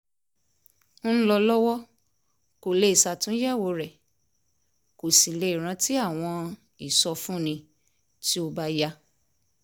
ń lọ lọ́wọ́ kó lè ṣàtúnyẹ̀wò rẹ̀ kó sì lè rántí àwọn ìsọfúnni tí ó bá yá